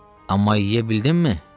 Amma yeyə bildinmi?